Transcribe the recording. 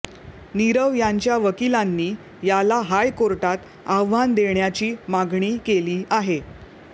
नीरव यांच्या वकिलांनी याला हाय कोर्टात आव्हान देण्याची मागणी केली आहे